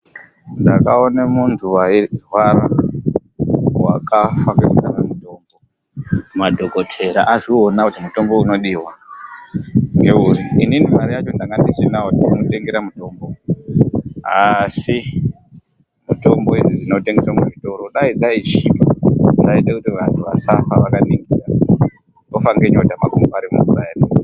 Ndakaona muntu wairwara wakafa, madhokotera azviona kuti mutombo unodiwa, inini mare yacho ndanga ndisina ndochomutengera mutombo, Asi mitombo idzi dzinotengeswa muzvorodai dzaichipa zvaiita kuti vantu vasafe nenyota makumbo ari mumvura.